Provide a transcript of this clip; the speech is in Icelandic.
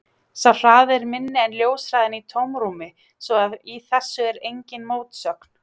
Sá hraði er minni en ljóshraðinn í tómarúmi svo að í þessu er engin mótsögn.